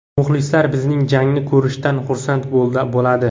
Muxlislar bizning jangni ko‘rishdan xursand bo‘ladi.